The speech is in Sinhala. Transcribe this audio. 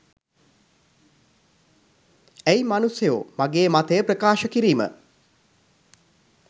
ඇයි මනුස්සයෝ මගේ මතය ප්‍රකාශ කිරීම